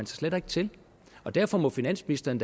slet ikke til derfor må finansministeren